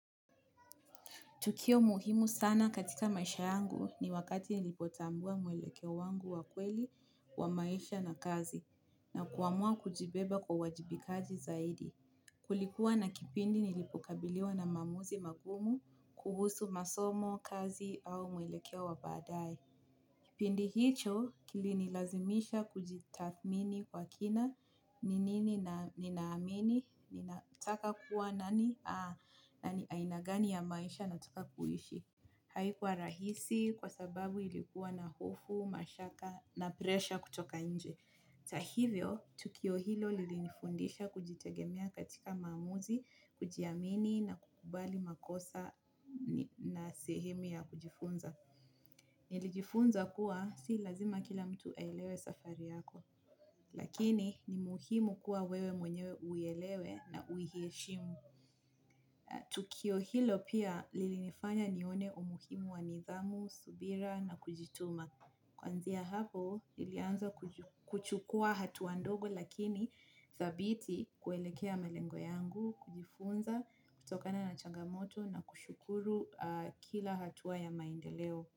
Tukio muhimu sana katika maisha yangu ni wakati nilipotambua mwelekeo wangu wa kweli wa maisha na kazi na kuamua kujibeba kwa uwajibikaji zaidi. Kulikuwa na kipindi nilipokabiliwa na maamuzi magumu kuhusu masomo, kazi au mwelekeo wa baadae. Pindi hicho kilinilazimisha kujitathmini kwa kina, ni nini na ninaamini ninataka kuwa nani, na ni aina gani ya maisha nataka kuishi. Haikuwa rahisi kwa sababu ilikuwa na hofu, mashaka na presha kutoka nje. Ta hivyo, tukio hilo lilinifundisha kujitegemea katika maamuzi, kujiamini na kukubali makosa na sehemu ya kujifunza. Nilijifunza kuwa si lazima kila mtu aielewe safari yako. Lakini ni muhimu kuwa wewe mwenyewe uielewe na uiheshimu. Tukio hilo pia lilinifanya nione umuhimu wa nidhamu, subira na kujituma. Kuanzia hapo, nilianza kuchukua hatua ndogo lakini dhabiti kuelekea melengo yangu, kujifunza kutokana na changamoto na kushukuru kila hatua ya maendeleo.